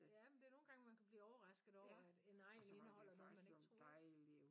Ja men det er nogen gange man kan blive overrasket over at en egn indeholder noget man ikke troede